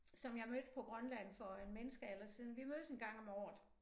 Som jeg mødte på Grønland for en menneskealder siden vi mødes en gang om året